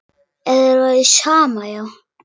Ef þér væri sama, já.